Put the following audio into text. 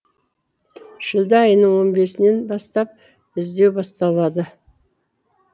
шілде айының он бесінен бастап іздеу басталады